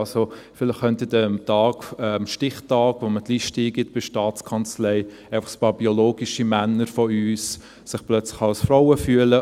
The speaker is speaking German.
Am Stichtag, wenn man die Liste bei der Staatskanzlei eingibt, könnten sich vielleicht ein paar biologische Männer von uns plötzlich als Frauen fühlen.